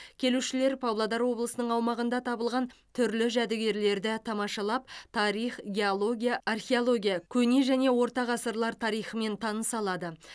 келушілер павлодар облысының аумағында табылған түрлі жәдігерлерді тамашалап тарих геология археология көне және орта ғасырлар тарихымен таныса алады